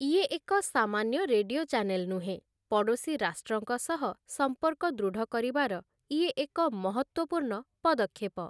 ଇଏ ଏକ ସାମାନ୍ୟ ରେଡିଓ ଚାନେଲ ନୁହେଁ, ପଡ଼ୋଶୀ ରାଷ୍ଟ୍ରଙ୍କ ସହ ସମ୍ପର୍କ ଦୃଢ଼ କରିବାର ଇଏ ଏକ ମହତ୍ଵପୂର୍ଣ୍ଣ ପଦକ୍ଷେପ ।